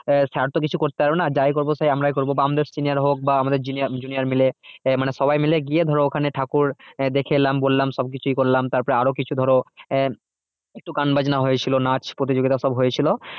আহ sir তো কিছু করতে পারবো না যাই করবো সেই আমরাই করবো বা আমাদের senior হোক বা আমাদের junior মিলে আহ মানে সবাই মিলে গিয়ে ধরো ওখানে ঠাকুর আহ দেখে এলাম বললাম সব কিছুই করলাম তারপরে আরও কিছু ধরো আহ একটু গান বাজনা হয়েছিল নাচ প্রতিযোগিতা সব হয়েছিল